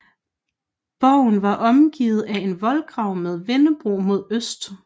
Borgen var omgivet af en voldgrav med vindebro mod øst